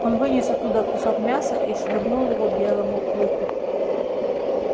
он вынес оттуда кусок мяса и швырнул его белому клыку